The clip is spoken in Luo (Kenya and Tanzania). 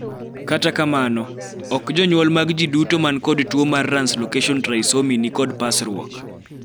kata kamano, ok jonyuol mag jii duto man kod tuo mar ranslocation trisomy ni kod pasruok